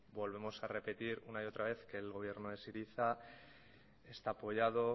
volvemos a repetir una y otra vez que el gobierno de syriza está apoyado